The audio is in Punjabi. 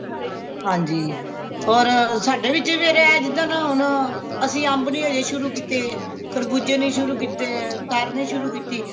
ਹਾਂਜੀ ਹੋਰ ਸਾਡੇ ਵਿੱਚ ਵੀ ਇਹ ਜਿਦਣ ਹੋਣ ਅਸੀਂ ਅੰਭ ਨਹੀਂ ਹਜੇ ਸ਼ੁਰੂ ਕੀਤੇ ਖਰਬੂਜੇ ਨਹੀਂ ਸ਼ੁਰੂ ਕੀਤੇ ਤਰ ਨਹੀਂ ਸ਼ੁਰੂ ਕੀਤੀ